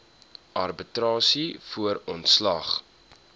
arbitrasie voor ontslag